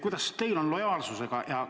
Kuidas teil on lood lojaalsusega?